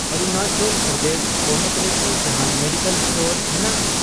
ᱚᱨᱩᱱᱟᱪᱚᱞ ᱯᱨᱚᱫᱮᱥ ᱯᱚᱱᱚᱛ ᱨᱮᱠᱤ ᱡᱟᱦᱟᱱ ᱢᱮᱰᱤᱠᱮᱞ ᱥᱴᱳᱨ ᱢᱮᱱᱟᱜᱼᱟ ?